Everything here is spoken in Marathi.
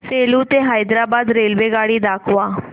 सेलू ते हैदराबाद रेल्वेगाडी दाखवा